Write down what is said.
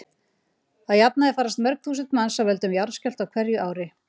Að jafnaði farast mörg þúsund manns af völdum jarðskjálfta á hverju ári.